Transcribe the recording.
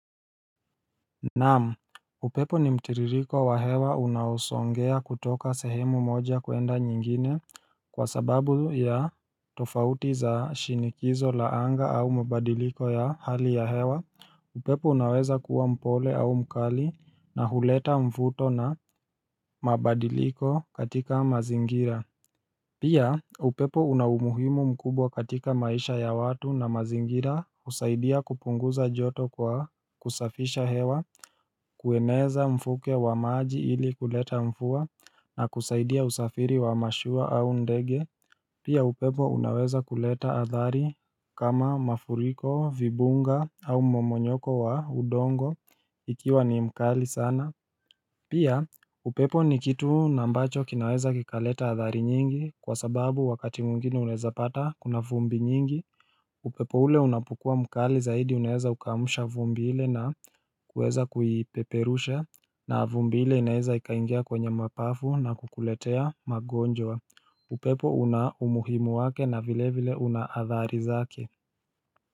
Naam upepo ni mtiririko wa hewa unaosongea kutoka sehemu moja kuenda nyingine kwa sababu ya tofauti za shinikizo la anga au mabadiliko ya hali ya hewa upepo unaweza kuwa mpole au mkali na huleta mvuto na mabadiliko katika mazingira Pia upepo una umuhimu mkubwa katika maisha ya watu na mazingira usaidia kupunguza joto kwa kusafisha hewa, kueneza mfuke wa maji ili kuleta mfua na kusaidia usafiri wa mashua au ndege. Pia upepo unaweza kuleta adhari kama mafuriko, vibunga au mmomonyoko wa udongo ikiwa ni mkali sana. Pia upepo ni kitu nambacho kinaweza kikaleta athari nyingi kwa sababu wakati mwingine unaeza pata kuna vumbi nyingi upepo ule unapokua mkali zaidi unaeza ukaamsha vumbi ile na kuweza kuipeperusha na vumbi ile inaeza ikaingia kwenye mapafu na kukuletea magonjwa upepo unaumuhimu wake na vile vile una adhari zake.